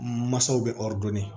Masaw bɛ